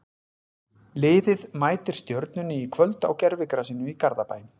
Liðið mætir Stjörnunni í kvöld á gervigrasinu í Garðabæ.